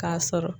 K'a sɔrɔ